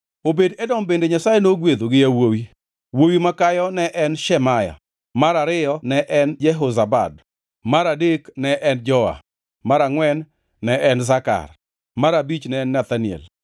Obed-Edom bende Nyasaye nogwedho gi yawuowi, wuowi makayo ne en Shemaya, mar ariyo ne en Jehozabad, mar adek ne en Joa, mar angʼwen ne en Sakar, mar abich ne en Nethanel,